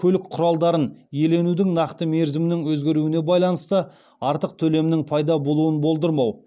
көлік құралдарын иеленудің нақты мерзімнің өзгеруіне байланысты артық төлемнің пайда болуын болдырмау